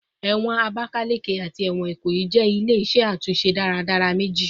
Ẹwọn Abakaleke ati ẹwọn Ikoyi jẹ ile-iṣẹ atunṣe daradara meji